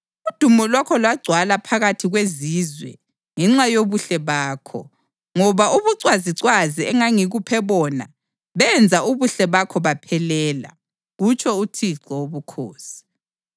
Udumo lwakho lwagcwala phakathi kwezizwe ngenxa yobuhle bakho, ngoba ubucwazicwazi engangikuphe bona benza ubuhle bakho baphelela, kutsho uThixo Wobukhosi.